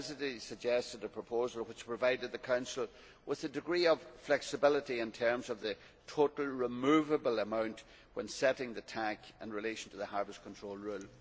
The Presidency suggested a proposal which provided the Council with a degree of flexibility in terms of the total removable amount when setting the total allowable catch in relation to the Harvest Control Rule.